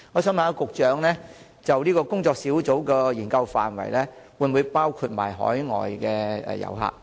請問局長，工作小組的研究範圍會否包括海外遊客？